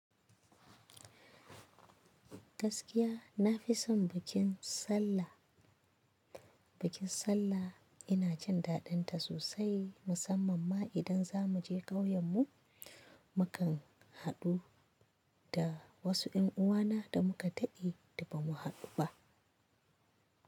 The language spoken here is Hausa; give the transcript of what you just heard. Gaskiya na fi son bikin Sallah. Bikin Sallah ina jin dadin ta sosai musamman ma idan za mu je ƙauyen mu. Mukan haɗu da wasu 'yan uwana da muka taɓi da ba mu haɗu ba.